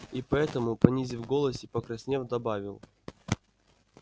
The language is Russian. и поэтому понизив голос и покраснев добавил